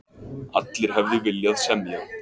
Allir hefðu viljað semja.